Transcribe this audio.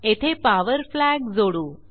येथे power flag जोडू